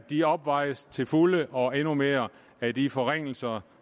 de opvejes til fulde og endnu mere af de forringelser